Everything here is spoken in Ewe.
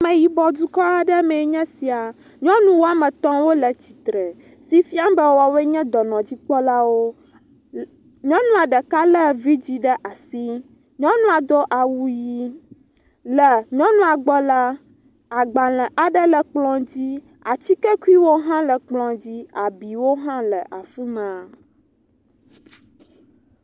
Ame yibɔ dukɔ aɖe mee nye esia, nyɔnu woame etɔ wole tsitre, si fiam be woawoe nye dɔnɔdzikpɔlawo, nyɔnua ɖeka le vidzi ɖe asi, nyɔnua do awu ʋi. le nyɔnu gbɔ la, agbalẽwo le kplɔ dzi, atike kuiwo le kplɔ dzi. Abiwo hã le afima.